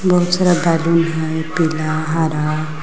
बहुत सारा बैलून हइ पीला हरा --